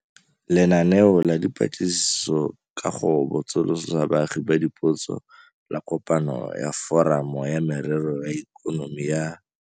Lenaneo la Dipatlisiso ka go Botsolotsa Baagi Dipotso la Kopano ya Foramo ya Merero ya Ikonomi ya.